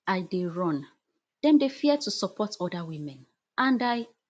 i dey run dem dey fear to support oda women and i